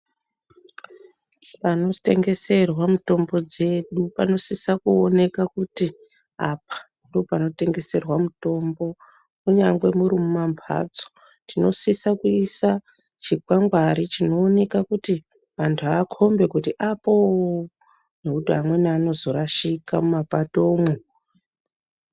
Panotengeserwa mitombo dzedu panosisa kuoneka kuti apa ndopanotengeswa mitombo. Kunyangwe muri mumambatso tinosisa kuisa chikwangari kuti vantu vakombe kuti apo ngekuti amweni anozorashika mumapato mwo.